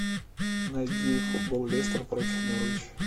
найди футбол лестер против норвич